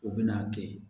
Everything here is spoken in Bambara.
U bɛ n'a kɛ